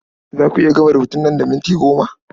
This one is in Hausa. Za a ku iya gama rubutun nan da minti goma?